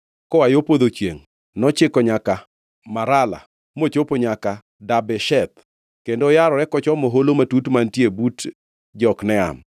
Koa yo podho chiengʼ nochiko Marala mochopo nyaka Dabesheth, kendo oyarore kochomo holo matut mantiere but Jokneam.